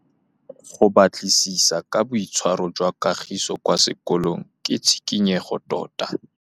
Go batlisisa ka boitshwaro jwa Kagiso kwa sekolong ke tshikinyêgô tota.